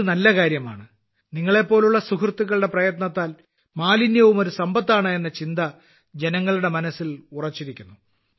ഇത് നല്ല കാര്യമാണ് നിങ്ങളെപ്പോലുള്ള സുഹൃത്തുക്കളുടെ പ്രയത്നത്താൽ മാലിന്യവും ഒരു സമ്പത്താണ് എന്ന ചിന്ത ജനങ്ങളുടെ മനസ്സിൽ ഉറച്ചിരിക്കുന്നു